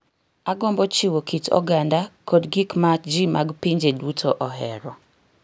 Agombo chiwo kit oganda kod gik ma ji mag pinje duto ohero